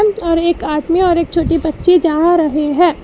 और एक आदमी और एक छोटी बच्ची जा रहे है।